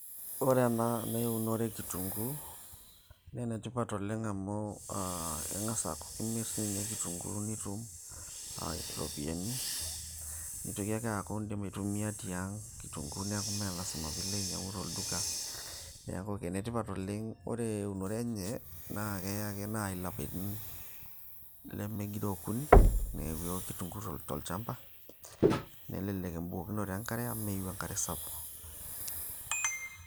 Ore ena naa eunore e kitunguu naa enetipat oleng amu aa keng'as aaku kimirr tii ninye kitunguu nitum iropiyiani nitoki ake aaku indim aitumia tiang kitunguu neeku mee lasima piilo ainyiang'u tolduka, neeku enetipat oleng ore eunore enye naa keeya ake naaji ilapaitin lemegiroo okuni neeku ewo kitunguu tolchamba nelelek embukokinoto enkare amu meyieu enkare sapuk.